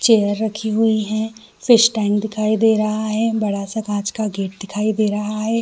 Chair रखी हुई है फिश टैंक दिखाई दे रहा है बड़ा -सा काँच का गेट दिखाई दे रहा हैं ।